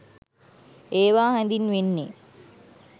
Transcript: ඒවා හැඳින්වෙන්නේ